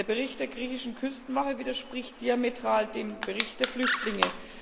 Der Bericht der griechischen Küstenwache widerspricht diametral dem Bericht der Flüchtlinge.